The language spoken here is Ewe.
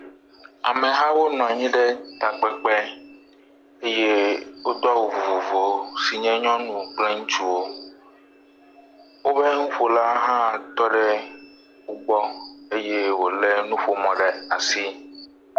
Amehawo nɔ anyi ɖe takpekpe eye wodo awu vovovowo si nye nyɔnu kple ŋutsuwo. Wobe nuƒola hã tɔ ɖe wo gbɔ eye wo le nuƒomɔ ɖe asi.